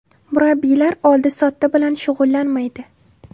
Murabbiylar oldi-sotdi bilan shug‘ullanmaydi”.